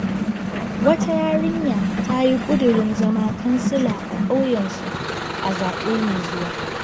Wata yarinya ta yi ƙudurin zama kansila a ƙauyensu a zaɓe mai zuwa..